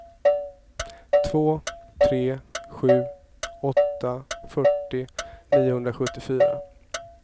två tre sju åtta fyrtio niohundrasjuttiofyra